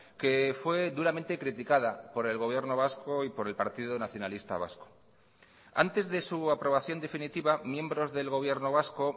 que fue duramente criticada por el gobierno vasco y por el partido nacionalista vasco antes de su aprobación definitiva miembros del gobierno vasco